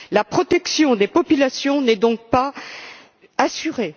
La protection des populations n'est donc pas assurée.